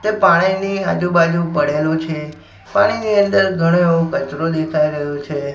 તે પાણીની આજુ બાજુ પડેલુ છે પાણીની અંદર ઘણો એવો કચરો દેખાઈ રહ્યો છે.